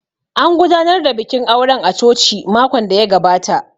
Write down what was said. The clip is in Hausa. An gudanar da bikin auren a coci makon da ya gabata